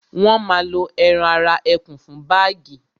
wọ́n ma lo ẹran ara ẹkùn fún bágì